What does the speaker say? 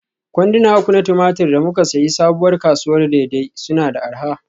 Kwanduna uku na tumatir da muka sayi Sabuwar kasuwar Dei-Dei suna da arha.